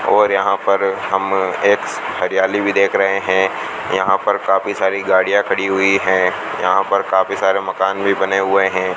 और यहां पर हम एक हरियाली भी देख रहे हैं यहां पर काफी सारी गाड़ियां खड़ी हुई हैं यहां पर काफी सारे मकान भी बने हुए हैं।